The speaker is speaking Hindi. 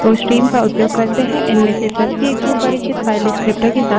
इनमें से प्रत्येक सुपरिचित file descriptor विवरणक के साथ संयुक्त होता है